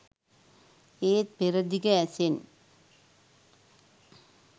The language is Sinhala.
ඒත් පෙරදිග ඇසෙන්